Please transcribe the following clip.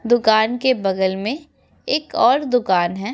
दुकान के बगल में एक और दुकान है।